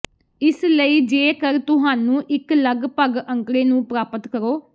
ਇਸ ਲਈ ਜੇਕਰ ਤੁਹਾਨੂੰ ਇੱਕ ਲਗਭਗ ਅੰਕੜੇ ਨੂੰ ਪ੍ਰਾਪਤ ਕਰੋ